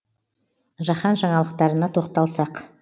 жаһан жаңалықтарына тоқталсақ